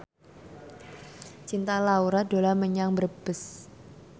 Cinta Laura dolan menyang Brebes